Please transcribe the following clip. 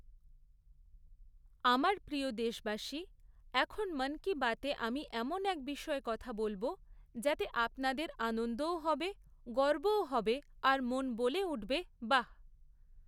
আমার প্রিয় দেশবাসী, এখন মন কী বাতে আমি এমন এক বিষয়ে কথা বলবো যাতে আপনাদের আনন্দও হবে, গর্বও হবে আর মন বলে উঠবে বাঃ!